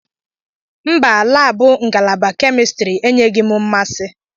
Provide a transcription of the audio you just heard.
Mba, laabụ ngalaba kemistri enyeghi m mmasị.